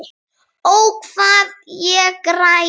Ó, hvað ég græt.